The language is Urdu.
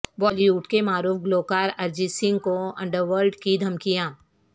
بالی ووڈ کے معروف گلوکار ارجیت سنگھ کو انڈر ورلڈ کی دھمکیاں